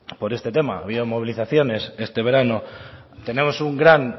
por este tema ha habido movilizaciones este verano tenemos un gran